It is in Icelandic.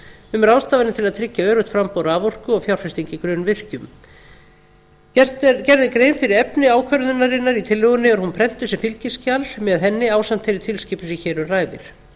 um ráðstafanir til að tryggja öruggt framboð raforku og fjárfestingu í grunnvirkjum gerð er grein fyrir efni ákvörðunarinnar í tillögunni og er hún prentuð sem fylgiskjal með henni ásamt þeirri tilskipun sem hér um ræðir